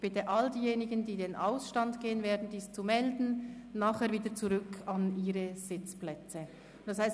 Ich bitte alle diejenigen, die in den Ausstand gehen werden, sich zu melden und nachher wieder an Ihre Sitzplätze zurückzukehren.